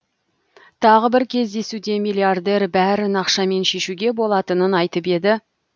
тағы бір кездесуде миллиардер бәрін ақшамен шешуге болатынын айтып еді